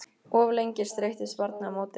Of lengi streittist barnið á móti